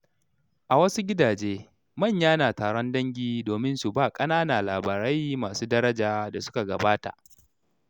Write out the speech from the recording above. A wasu gidaje, manya na taron dangi domin su ba ƙanana labarai masu daraja da suka gabata.